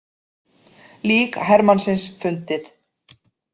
Lík hermannsins fundið